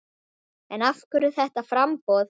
En af hverju þetta framboð?